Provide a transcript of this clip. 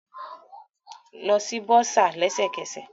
Lọ si bursar lẹsẹkẹsẹ